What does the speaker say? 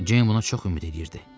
Ceyn buna çox ümid eləyirdi.